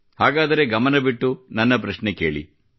ಹಾಗಾದರೆ ಗಮನವಿಟ್ಟು ನನ್ನ ಪ್ರಶ್ನೆ ಕೇಳಿ